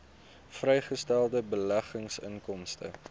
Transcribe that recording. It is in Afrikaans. vrygestelde beleggingsinkomste